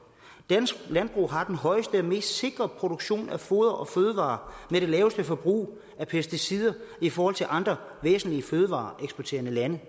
dansk landbrug har den højeste og mest sikre produktion af foder og fødevarer med det laveste forbrug af pesticider i forhold til andre væsentlige fødevareeksporterende lande